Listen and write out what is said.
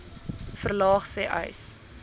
verlaag sê uys